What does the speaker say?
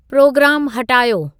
programme हटायो